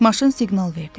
Maşın siqnal verdi.